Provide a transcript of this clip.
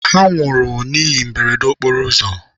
Ha nwụrụ n'ihe mberede okporo ụzọ.